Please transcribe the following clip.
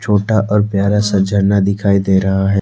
छोटा और प्यारा सा झरना दिखाई दे रहा है।